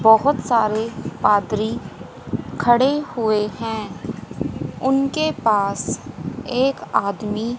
बहोत सारे पादरी खड़े हुए हैं उनके पास एक आदमी--